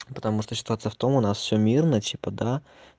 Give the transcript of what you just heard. потому что ситуация в том у нас всё мирно типа да